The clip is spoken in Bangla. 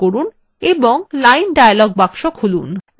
লাইনটি নির্বাচন করুন এবং line dialog box খুলুন